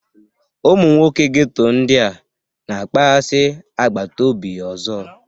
Ụmụ nwoke ghetto ndị a na-akpaghasị agbata obi ọzọ